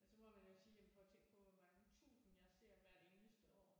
Men så må man jo sige jamen prøv at tænke på hvor mange tusind jeg ser hvert eneste år